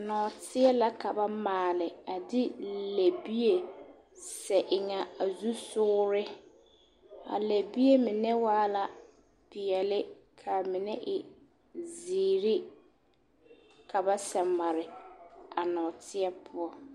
Nɔɔteɛ la ka ba maale a de lɛbie seɛ eŋ a zusogere, a lɛbie mine waa la peɛle k'a mine e zeere ka ba sɛ mare a nɔɔteɛ poɔ.